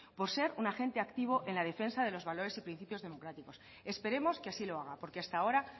por ser un agente activo en la defensa de los valores y principios democráticos esperemos que así lo haga porque hasta ahora